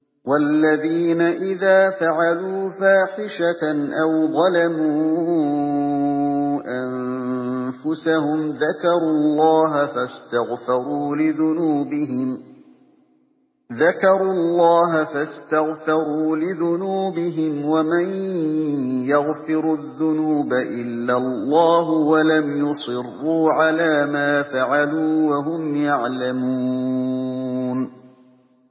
وَالَّذِينَ إِذَا فَعَلُوا فَاحِشَةً أَوْ ظَلَمُوا أَنفُسَهُمْ ذَكَرُوا اللَّهَ فَاسْتَغْفَرُوا لِذُنُوبِهِمْ وَمَن يَغْفِرُ الذُّنُوبَ إِلَّا اللَّهُ وَلَمْ يُصِرُّوا عَلَىٰ مَا فَعَلُوا وَهُمْ يَعْلَمُونَ